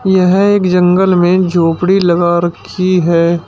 यह एक जंगल में झोपड़ी लगा रखी है।